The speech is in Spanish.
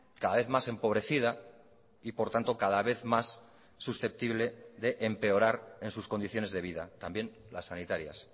cada vez más empobrecida y por tanto cada vez más susceptible de empeorar en sus condiciones de vida también las sanitarias